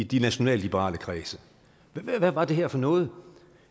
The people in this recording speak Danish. de nationalliberale kredse hvad var det her for noget